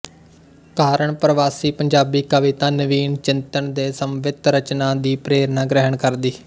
ਕਾਰਨ ਪਰਵਾਸੀ ਪੰਜਾਬੀ ਕਵਿਤਾ ਨਵੀਨ ਚਿੰਤਨ ਦੇ ਸਮਵਿੱਥ ਰਚਨਾ ਦੀ ਪ੍ਰੇਰਨਾ ਗ੍ਰਹਿਣ ਕਰਦੀ